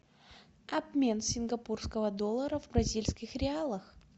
обмен сингапурского доллара в бразильских реалах